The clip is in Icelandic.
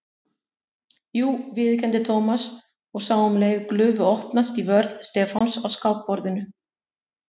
Jú viðurkenndi Thomas og sá um leið glufu opnast í vörn Stefáns á skákborðinu.